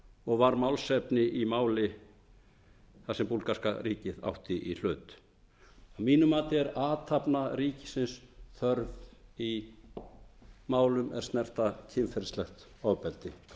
og var málefni í máli þar sem búlgarska ríkið átti í hlut að mínu mati er athafna ríkisins þörf í málum er snerta kynferðislegt ofbeldi